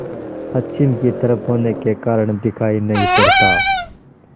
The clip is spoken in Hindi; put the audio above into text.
पश्चिम की तरफ होने के कारण दिखाई नहीं पड़ता